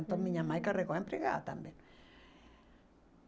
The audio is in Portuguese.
Hum... Então minha mãe carregou a empregada também.